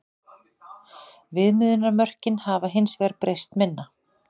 Viðmiðunarmörkin hafa hins vegar breyst minna.